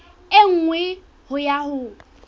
e nngwe ho ya ho